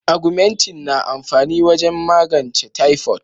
"Augumentin" na amfani wajen magance typhoid.